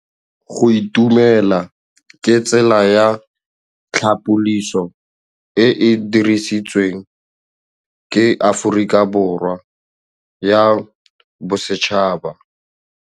Go itumela ke tsela ya tlhapolisô e e dirisitsweng ke Aforika Borwa ya Bosetšhaba.